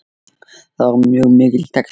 Það var mjög mikill texti.